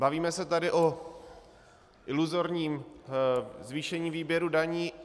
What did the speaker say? Bavíme se tady o iluzorním zvýšení výběru daní.